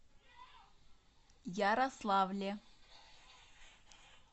ярославле